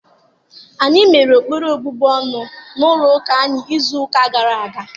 Anyị mere ekpere na obubu ọnụ n'ụlọ ụka anyị izu ụka gara aga.